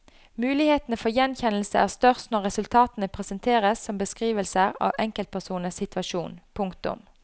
Mulighetene for gjenkjennelse er størst når resultatene presenteres som beskrivelser av enkeltpersoners situasjon. punktum